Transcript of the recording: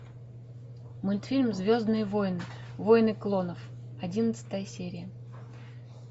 мультфильм звездные войны войны клонов одиннадцатая серия